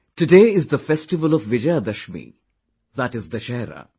Today is the festival of Vijaydashami, that is Dussehra